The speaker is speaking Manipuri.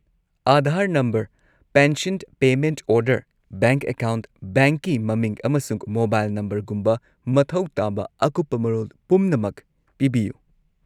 Aadhaar number, pension payment order, bank account, ꯕꯦꯡꯛꯀꯤ ꯃꯃꯤꯡ ꯑꯃꯁꯨꯡ ꯃꯣꯕꯥꯏꯜ ꯅꯝꯕꯔꯒꯨꯝꯕ ꯃꯊꯧ ꯇꯥꯕ ꯑꯀꯨꯞꯄ ꯃꯔꯣꯜ ꯄꯨꯝꯅꯃꯛ ꯄꯤꯕꯤꯌꯨ꯫